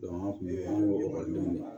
an kun bɛ an b'o denw de la